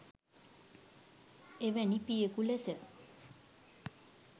එවැනි පියකු ලෙස